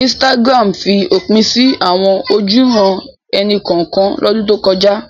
Instagram fi òpin sí àwọn ojúuran-ẹni kọ̀ọ̀kan lọ́dún tó kọjá.